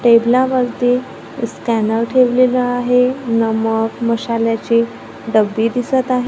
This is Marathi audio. टेबलावरती स्कॅनर ठेवलेला आहे नमक मसाल्याची डब्बी दिसत आहे.